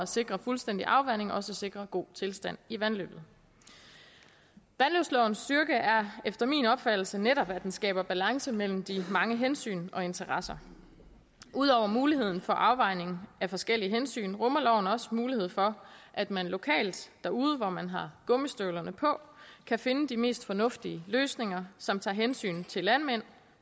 sikre fuldstændig afvanding også sikrer en god tilstand i vandløbet vandløbslovens styrke er efter min opfattelse netop at den skaber balance mellem de mange hensyn og interesser ud over muligheden for afvejning af forskellige hensyn rummer loven også mulighed for at man lokalt derude hvor man har gummistøvlerne på kan finde de mest fornuftige løsninger som tager hensyn til landmænd